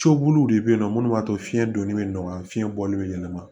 Coboliw de be yen nɔ munnu b'a to fiɲɛ donni bɛ nɔgɔya fiɲɛ bɔli bɛ yɛlɛma